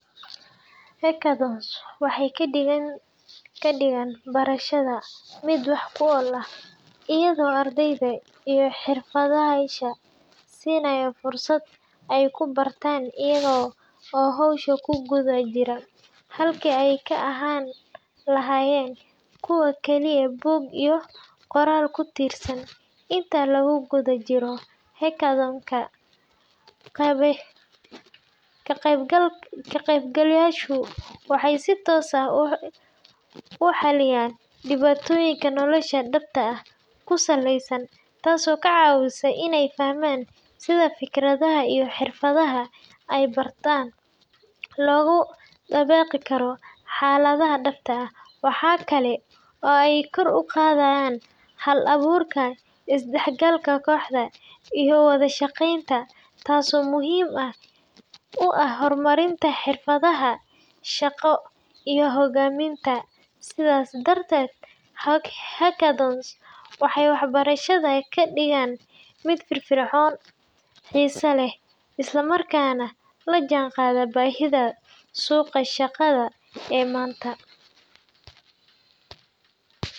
Hackathons waxay ka dhigaan barashada mid wax ku ool ah iyagoo ardayda iyo xirfadlayaasha siinaya fursad ay ku bartaan iyaga oo hawsha ku guda jira, halkii ay ka ahaan lahaayeen kuwo kaliya buug iyo qoraal ku tiirsan. Inta lagu guda jiro hackathon-ka, kaqeybgalayaashu waxay si toos ah u xalliyaan dhibaatooyin nolosha dhabta ah ku saleysan, taasoo ka caawisa inay fahmaan sida fikradaha iyo xirfadaha ay bartaan loogu dabaqi karo xaaladaha dhabta ah. Waxa kale oo ay kor u qaadaan hal-abuurka, isdhexgalka kooxeed, iyo wada shaqeynta, taasoo muhiim u ah horumarinta xirfadaha shaqo iyo hogaaminta. Sidaas darteed, hackathons waxay waxbarashada ka dhigaan mid firfircoon, xiiso leh, isla markaana la jaanqaada baahida suuqa shaqada ee maanta.